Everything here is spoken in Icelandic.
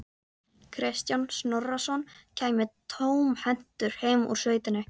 Kristján Snorrason kæmi tómhentur heim úr sveitinni.